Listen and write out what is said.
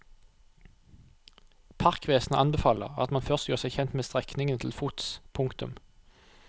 Parkvesenet anbefaler at man først gjør seg kjent med strekningene til fots. punktum